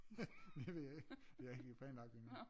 Det ved jeg ikke det har jeg ikke lige planlagt endnu